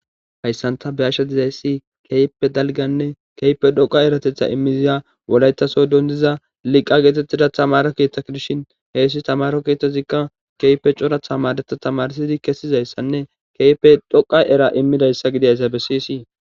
Hayssanta be ashsha dizayssi keype dalganne keype dhoqa eratetha immiziya wolaytaso dondiza liqqa geetettida tamara keeththakidishin heessi tamaro kiethozikka keype coratha madeta tamarsidi kessizayssanne keype dhoqa era immidayssa gidaysa be siysii